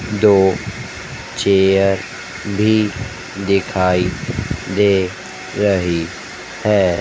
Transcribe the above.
दो चेयर भी दिखाई दे रही है।